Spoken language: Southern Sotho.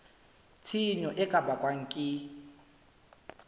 tshenyo e ka bakwang ke